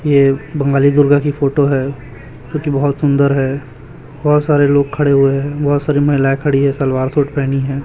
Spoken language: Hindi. ये बंगाली दुर्गा की फोटो है जोकि बहोत सुंदर है बहोत सारे लोग खड़े हुए हैं बहोत सारी महिलाएं खड़ी है सलवार सूट पहनी है।